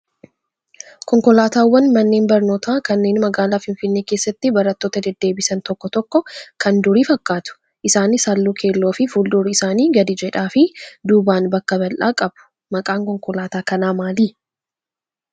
Konkolaataawwan manneen barnootaa kanneen magaalaa Finfinnee keessatti barattoota deddeebisan tokko tokko kan durii fakkaatu. Isaanis halluu keelloo fi fuuldurri isaanii gadi jedhaa fi duubaan bakka bal'aa qabu. Maqaan konkolaataa kanaa maali?